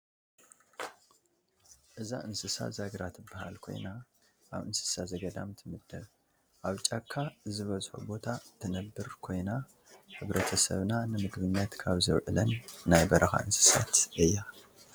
እዛ እንስሳ ዛግራ ትበሃል ኮይና አብ እንስሳ ዘገዳም ትምደብ፡፡ አብ ጫካ ዝበዝሖ ቦታ ትነብር ኮይና ሕብረተሰብና ንምግብነት ካብ ዘውዕለን ናይ በረካ እንስሳት እያ፡፡